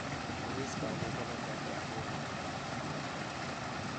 Liiska cudurrada faafa waa dheer yahay.